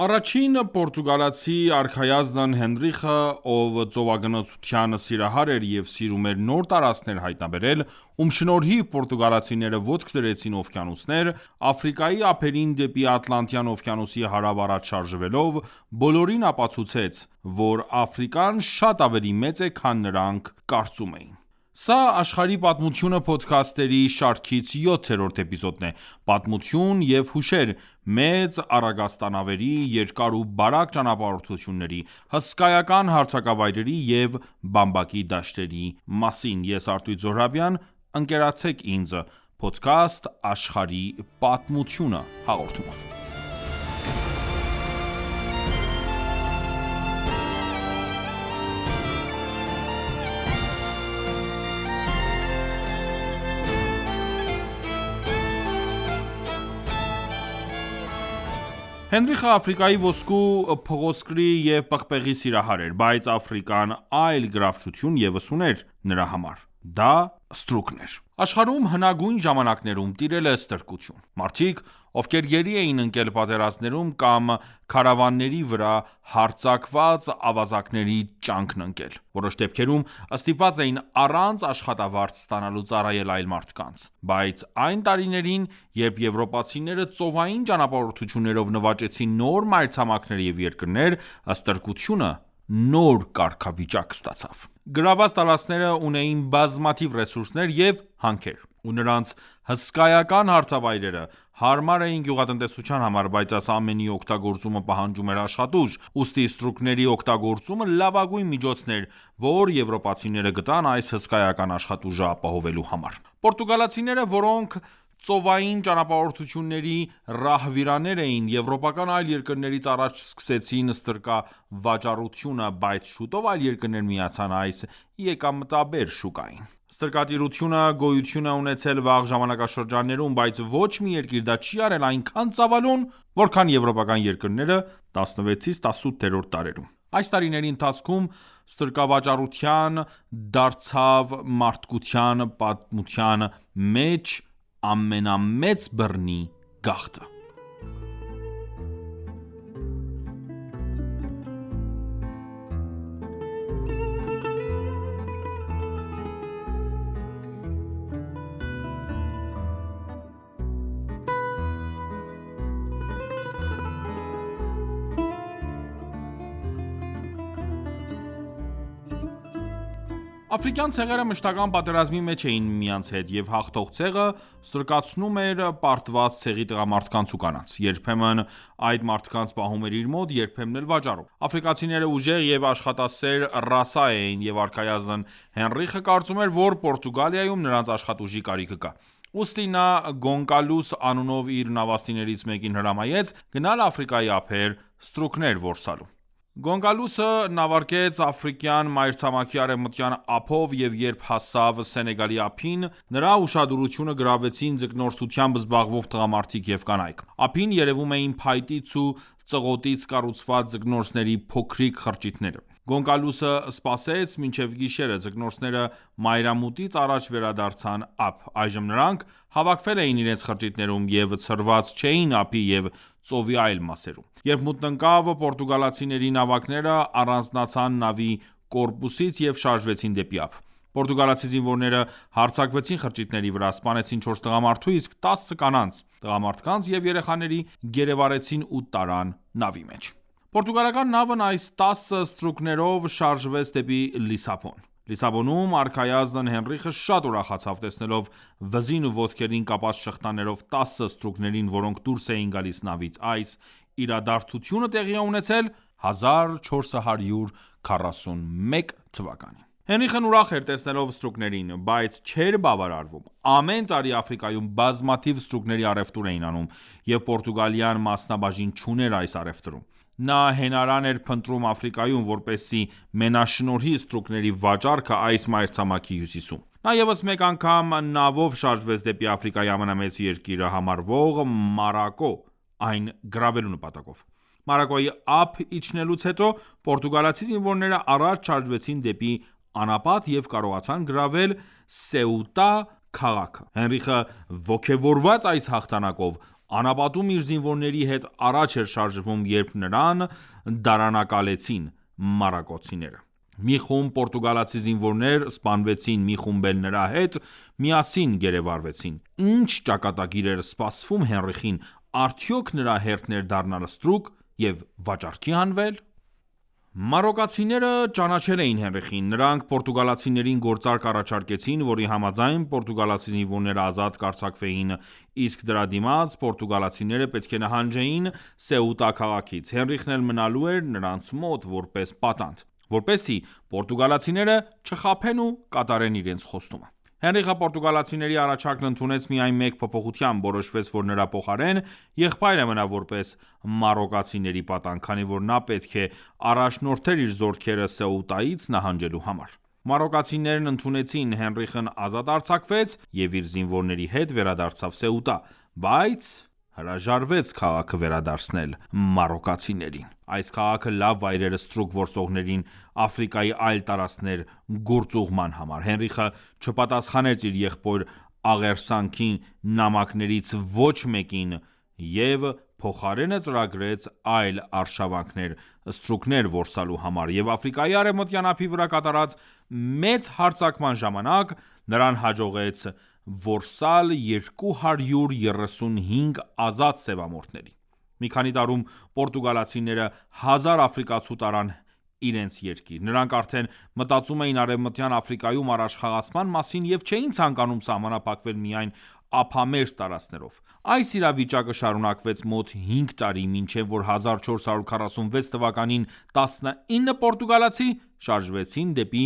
Առաջին պորտուգալացի արքայազն Հենրիխը, ով ծովագնացության սիրահար էր, և սիրում էր նոր տարածքներ հայտնաբերել, ում շնորհիվ պորտուգալացիները ոտք դրեցին օվկիանոսներ, Աֆրիկայի ափերին դեպի Ատլանտյան օվկիանոսի հարավ առաջ շարժվելով, բոլորին ապացուցեց, որ Աֆրիկան շատ ավելի մեծ է, քան նրանք կարծում էին: Սա «Աշխարհի պատմությունը» փոդքասթերի շարքից 7-րդ էպիզոդն է: Պատմություն և հուշեր՝ մեծ առագաստանավերի, երկար ու բարակ ճանապարհորդությունների, հսկայական հարթավայրերի և բամբակի դաշտերի մասին: Հենրիխը Աֆրիկայի ոսկու, փղոսկրի և պղպեղի սիրահար էր, բայց Աֆրիկան այլ գրավչություն ևս ուներ նրա համար:Դա ստրուկն էր: Աշխարհում հնագույն ժամանակներում տիրել է ստրկություն։ Մարդիկ, ովքեր գերի էին ընկել պատերազմներում կամ քարավանների վրա հարձակված ավազակների ճանկն ընկել, որոշ դեպքերում ստիպված էին առանց աշխատավարձ ստանալու ծառայել այլ մարդկանց: Բայց այն տարիներին, երբ եվրոպացիները ծովային ճանապարհորդություններով նվաճեցին նոր մայրցամաքներ և երկրներ, ստրկությունը նոր կարգավիճակ ստացավ: Գրավված տարածքները ունեին բազմաթիվ ռեսուրսներ և հանքեր, և նրանց հսկայական հարթավայրերը հարմար էին գյուղատնտեսության համար, բայց այս ամենի օգտագործումը պահանջում էր աշխատուժ, ուստի ստրուկների օգտագործումը լավագույն միջոցն էր, որ եվրոպացիները գտան այս հսկայական աշխատուժը ապահովելու համար: Պորտուգալացիները, որոնք ծովային ճանապարհորդությունների ռահվիրաներ էին, եվրոպական այլ երկրներից առաջ սկսեցին ստրկավաճառությունը, բայց շուտով այլ երկրներ միացան այս եկամտաբեր շուկային։ Ստրկատիրությունը գոյություն է ունեցել վաղ ժամանակաշրջաններում, բայց ոչ մի երկիր դա չի արել այնքան ծավալուն, որքան եվրոպական երկրները 16-18-րդ դարերում: Այս տարիների ընթացքում ստրկավաճառությունը դարձավ մարդկության պատմության մեջ ամենամեծ բռնի գաղթը։ Աֆրիկյան ցեղերը մշտական պատերազմի մեջ էին միմյանց հետ, և հաղթող ցեղը ստրկացնում էր պարտված ցեղի տղամարդկանց ու կանանց: Երբեմն այդ մարդկանց պահում էր իր մոտ, երբեմն էլ՝ վաճառում։ Աֆրիկացիները ուժեղ և աշխատասեր ռասա էին, և արքայազն Հենրիխը կարծում էր, որ Պորտուգալիայում նրանց աշխատուժի կարիքը կա, ուստի նա Գոնկալուս անունով իր նավաստիներից մեկին հրամայեց, գնալ Աֆրիկայի ափեր՝ ստրուկներ որսալու: Գոնկալուսը նավարկեց Աֆրիկյան մայրցամաքի արևմտյան ափով և երբ հասավ Սենեգալի ափին, նրա ուշադրությունը գրավեցին ձկնորսությամբ զբաղվող տղամարդիկ և կանայք: Ափին երևում էին փայտից ու ծղոտից կառուցված ձկնորսների փոքրիկ խրճիթները։ Գոնկալուսը սպասեց մինչև գիշեր, ձկնորսները մայրամուտից առաջ վերադարձան ափ։ Այժմ նրանք հավաքվել էին իրենց խրճիթներում և ցրված չէին ափի և ծովի այլ մասերում։ Երբ մութն ընկավ, պորտուգալացիների նավակները առանձնացան նավի կորպուսից և շարժվեցին դեպի ափ։ Պորտուգալացի զինվորները հարձակվեցին խրճիթների վրա, սպանեցին չորս տղամարդու, իսկ տասը կանանց, տղամարդկանց և երեխաների գերեվարեցին ու տարան նավի մեջ։ Պորտուգալական նավն այս տասը ստրուկներով շարժվեց դեպի Լիսաբոն։ Լիսաբոնում արքայազն Հենրիխը շատ ուրախացավ՝ տեսնելով վզին ու ոտքերին կապած շղթաներով տասը ստրուկներին, որոնք դուրս էին գալիս նավից։ Այս իրադարձությունը տեղի է ունեցել 1441 թ.։ Հենրիխն ուրախ էր տեսնելով ստրուկներին, բայց չէր բավարարվում։ Ամեն տարի Աֆրիկայում բազմաթիվ ստրուկների առևտուր էին անում, և Պորտուգալիան մասնաբաժին չուներ այս առևտրում, նա հենարան էր փնտրում Աֆրիկայում, որպեսզի մենաշնորհի ստրուկների վաճառքը այս մայրցամաքի հյուսիսում: Նա ևս մեկ անգամ նավով շարժվեց դեպի Աֆրիկայի ամենամեծ երկիրը համարվող Մարոկկո, այն գրավելու նպատակով։ Մարոկկոյի ափ իջնելուց հետո պորտուգալացի զինվորները առաջ շարժվեցին դեպի անապատ և կարողացան գրավել Սեուտա քաղաքը։ Հենրիխը ոգևորված այս հաղթանակով, անապատում իր զինվորների հետ առաջ էր շարժվում, երբ նրան դարանակալեցին մարոկկացիները։ Մի խումբ պորտուգալացի զինվորներ սպանվեցին, մի խումբ էլ նրա հետ միասին գերեվարվեցին։ Ի՞նչ ճակատագիր էր սպասվում Հենրիխին, արդյո՞ք նրա հերթն էր դառնալ ստրուկ և վաճառքի հանվել։ Մարոկկացիները ճանաչել էին Հենրիխին: Նրանք պորտուգալացիներին գործարք առաջարկեցին, որի համաձայն պորտուգալացի զինվորները ազատ կարձակվեին, իսկ դրա դիմաց պորտուգալացիները պետք է նահանջեին Սեուտա քաղաքից։ Հենրիխն էլ մնալու էր նրանց մոտ որպես պատանդ, որպեսզի պորտուգալացիները չխաբեն ու կատարեն իրենց խոստումը։ Հենրիխը պորտուգալացիների առաջարկն ընդունեց միայն մեկ փոփոխությամբ։ Որոշվեց, որ նրա փոխարեն եղբայրը մնա որպես մարոկկացիների պատանդ, քանի որ նա պետք է առաջնորդեր իր զորքերը Սեուտայից նահանջելու համար։ Մարոկկացիներն ընդունեցին, Հենրիխն ազատ արձակվեց և իր զինվորների հետ վերադարձավ Սեուտա, բայց հրաժարվեց քաղաքը վերադարձնել մարոկկացիներին: Այս քաղաքը լավ վայր էր ստրուկ որսողներին Աֆրիկայի այլ տարածքներ գործուղման համար։ Հենրիխը չպատասխանեց իր եղբոր աղերսագին նամակներից ոչ մեկին և փոխարենը ծրագրեց այլ արշավանքներ՝ ստրուկներ որսալու համար, և Աֆրիկայի արևմտյան ափի վրա կատարած մեծ հարձակման ժամանակ նրան հաջողվեց որսալ 235 ազատ սևամորթների: Մի քանի տարում պորտուգալացիները հազար աֆրիկացու տարան իրենց երկիր։ Նրանք արդեն մտածում էին Արևմտյան Աֆրիկայում առաջխաղացման մասին և չէին ցանկանում սահմանափակվել միայն ափամերձ տարածքներով։ Այս իրավիճակը շարունակվեց մոտ հինգ տարի, մինչև որ 1446 թվականին 19 պորտուգալացի շարժվեցին դեպի